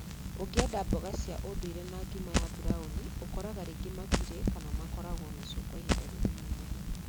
"Ũngĩenda mboga cia unduire na ngima ya burauni, ũkoraga rĩngĩ matirĩ kana makaraguo na ciio kwa ihinda rinini muno ."